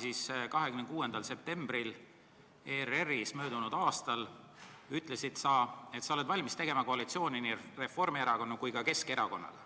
Möödunud aasta 26. septembril ütlesid sa ERR-is, et sa oled valmis tegema koalitsiooni nii Reformierakonna kui ka Keskerakonnaga,